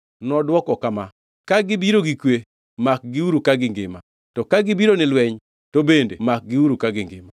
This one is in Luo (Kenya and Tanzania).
Nodwoko kama, “Ka gibiro gi kwe, makgiuru ka gingima; to ka gibiro ni lweny, to bende makgiuru ka gingima.”